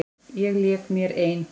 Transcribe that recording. Ég lék mér ein.